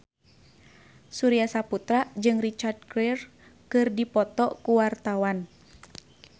Surya Saputra jeung Richard Gere keur dipoto ku wartawan